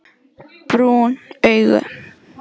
Brún augu